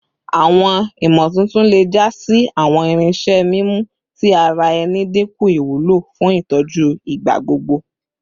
Awọn imotuntun le ja si awọn irinṣẹ mimu ti ara ẹni dinku iwulo fun itọju igbagbogbo